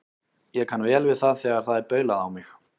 Ég kann vel við það þegar það er baulað á mig.